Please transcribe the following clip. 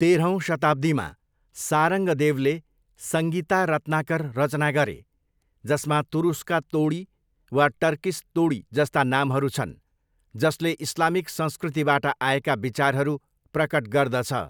तेह्रौँ शताब्दीमा, सारङ्गदेवले सङ्गीता रत्नाकर रचना गरे, जसमा तुरुस्का तोडी वा 'टर्किस तोडी' जस्ता नामहरू छन्, जसले इस्लामिक संस्कृतिबाट आएका विचारहरू प्रकट गर्दछ।